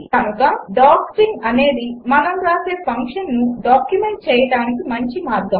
కనుక డాక్స్ట్రింగ్ అనేది మనము వ్రాసే ఫంక్షన్ను డాక్యుమెంట్ చేయడానికి మంచి మార్గం